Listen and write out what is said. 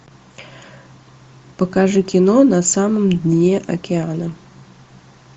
покажи кино на самом дне океана